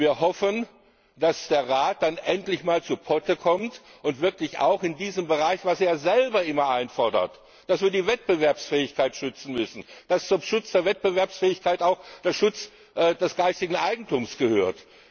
Wir hoffen, dass der Rat endlich mal zu Potte kommt, auch in diesem Bereich, wo er ja selber immer einfordert, dass wir die Wettbewerbsfähigkeit schützen müssen, dass zum Schutz der Wettbewerbsfähigkeit auch der Schutz des geistigen Eigentums gehört.